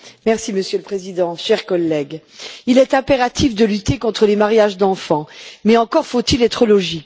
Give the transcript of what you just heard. Monsieur le Président, chers collègues, il est impératif de lutter contre les mariages d'enfants, mais encore faut il être logique.